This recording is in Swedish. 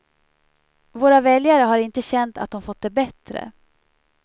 Våra väljare har inte känt att de fått det bättre.